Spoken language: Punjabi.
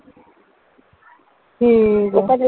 ਹਮ ਠੀਕ ਆ